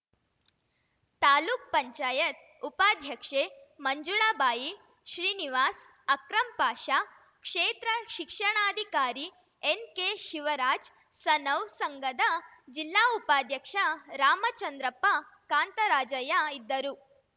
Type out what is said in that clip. ತಾಲೂಕ್ ಪಂಚಾಯತ್ ಉಪಾಧ್ಯಕ್ಷೆ ಮಂಜುಳಾಬಾಯಿ ಶ್ರೀನಿವಾಸ್‌ ಅಕ್ರಂ ಪಾಷ ಕ್ಷೇತ್ರ ಶಿಕ್ಷಣಾಧಿಕಾರಿ ಎನ್‌ಕೆ ಶಿವರಾಜ್‌ ಸನೌ ಸಂಘದ ಜಿಲ್ಲಾ ಉಪಾಧ್ಯಕ್ಷ ರಾಮಚಂದ್ರಪ್ಪ ಕಾಂತರಾಜಯ್ಯ ಇದ್ದರು